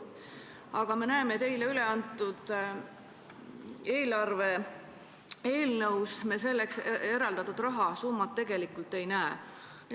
Aga me näeme, et eile üleantud eelarve eelnõus selleks eraldatud rahasummat ei ole.